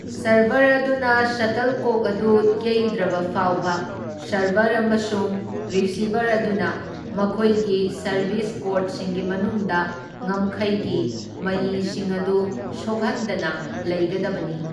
Server ꯑꯗꯨꯅ ꯁꯇꯜꯀꯣꯛ ꯑꯗꯨ ꯌꯩꯗ꯭ꯔꯕꯐꯥꯎꯕ ꯁꯔꯚꯔ ꯑꯃꯁꯨꯡ ꯔꯤꯁꯤꯚꯔ ꯑꯗꯨꯅ ꯃꯈꯣꯏꯒꯤ ꯁꯔꯚꯤꯁ ꯀꯣꯔꯠꯁꯤꯡꯒꯤ ꯃꯅꯨꯡꯗ ꯉꯝꯈꯩꯒꯤ ꯃꯌꯤꯁꯤꯡ ꯑꯗꯨ ꯁꯣꯛꯍꯟꯗꯅ ꯂꯩꯒꯗꯕꯅꯤ꯫